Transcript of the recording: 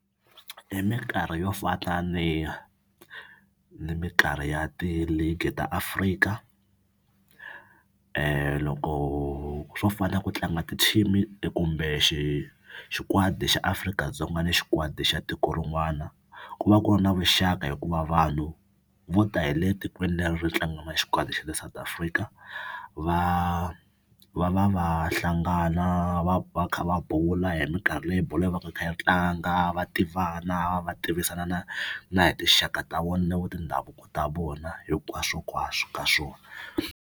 Hi minkarhi yo fana ni mikarhi ya ti-league ta Afrika loko swo fana ku tlanga ti-team kumbe xi xikwadi xa Afrika-Dzonga ni xikwadi xa tiko rin'wana ku va ku ri na vuxaka hikuva vanhu vo ta hi le tikweni leri ri tlanga na xikwadi xa le South Africa va va va va hlangana va va kha va bula hi mikarhi leyi bolo yi va ka yi kha yi tlanga va tivana va tivisana na na hi tinxaka ta tindhavuko ta vona hinkwaswonkwaswo ka swona.